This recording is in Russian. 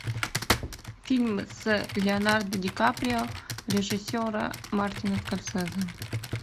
фильм с леонардо ди каприо режиссера мартина скорсезе